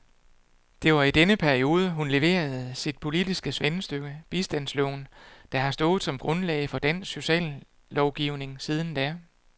Det var i denne periode, hun leverede sit politiske svendestykke, bistandsloven, der har stået som grundlag for dansk sociallovgivning siden da.